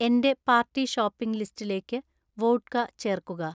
എന്‍റെ party shopping ലിസ്റ്റിലേക്ക് vodka ചേർക്കുക